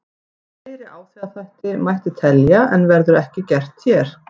Fleiri áhrifaþætti mætti telja en verður ekki gert hér.